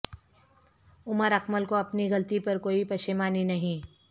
عمر اکمل کو اپنی غلطی پر کوئی پشیمانی نہیں